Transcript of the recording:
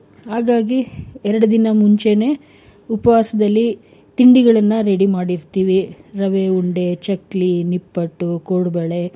ಹಾಗಾಗಿ ಎರಡು ದಿನ ಮುಂಚೇನೆ ಉಪವಾಸದಲ್ಲಿ ತಿಂಡಿಗಳನ್ನ ready ಮಾಡಿ ಇಡ್ತೀವಿ. ರವೆ ಉಂಡೆ ಚಕ್ಲಿ ನಿಪ್ಪಟ್ಟು ಕೋಡುಬಳೆ.